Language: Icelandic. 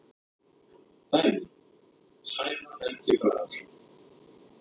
Dæmi: Sævar Helgi Bragason.